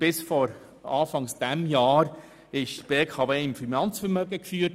Bis vor Jahresbeginn wurde die BKW im Finanzvermögen geführt.